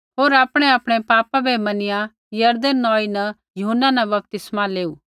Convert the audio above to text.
होर आपणैआपणै पापा बै मनिया यरदन नौई न यूहन्ना न बपतिस्मा लेऊ